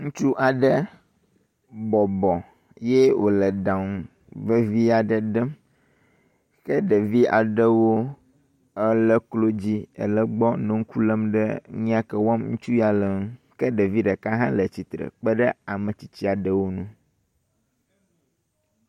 Ŋutsu aɖe bɔbɔ ye wòle ɖaŋu vevi aɖe ɖem, ke ɖevi aɖewo le klo dzi nɔ gbɔ le ŋku lém ɖe nu ya wɔm ŋutsu ya le ŋu. ke ɖevi ɖeka hã le tsitre kpe ɖe ametsitsi aɖewo ŋu.